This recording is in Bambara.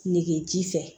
Nege ji fɛ